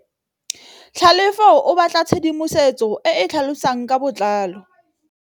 Tlhalefô o batla tshedimosetsô e e tlhalosang ka botlalô.